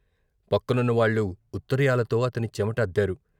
పక్కనున్న వాళ్లు ఉత్తరీయాలతో అతని చెమట అద్దారు.